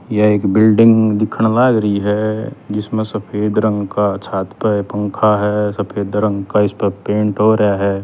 या एक बिल्डिंग दिखण लाग री हजिसम्ह सफेद रंग का छात प पंखा ह सफेद रंग का इसपह पेंट हो रया ह।